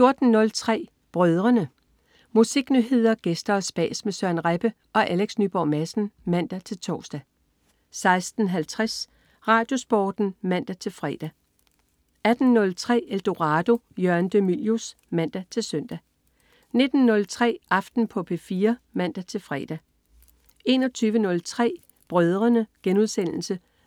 14.03 Brødrene. Musiknyheder, gæster og spas med Søren Rebbe og Alex Nyborg Madsen (man-tors) 16.50 RadioSporten (man-fre) 18.03 Eldorado. Jørgen de Mylius (man-søn) 19.03 Aften på P4 (man-fre) 21.03 Brødrene*